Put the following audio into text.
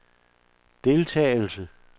deltagelse